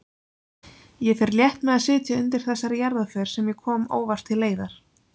Ég fer létt með að sitja undir þessari jarðarför sem ég kom óvart til leiðar.